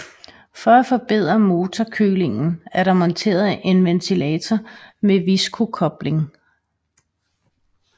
For at forbedre motorkølingen er der monteret en ventilator med Viscokobling